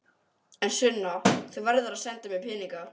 En Sunna, þú verður að senda mér peninga.